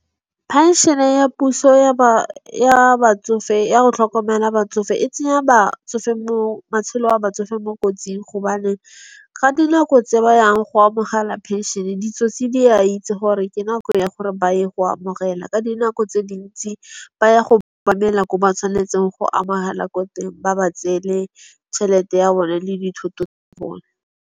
Penšene ya puso ya ba ya batsofe ya go tlhokomela batsofe e tsenya batsofe mo matshelo a batsofe mo kotsing. Gobane ga dinako tse ba yang go amogela penšene ditsotsi di a itse gore ke nako ya gore ba ye go amogela. Ka dinako tse dintsi ba ya go ba emela ko ba tshwanetseng go amogela ko teng ba ba tseele tšhelete ya bone le dithoto tsa bone.